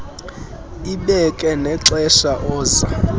ibeke nexesha oza